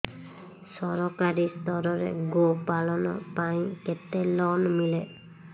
ସରକାରୀ ସ୍ତରରେ ଗୋ ପାଳନ ପାଇଁ କେତେ ଲୋନ୍ ମିଳେ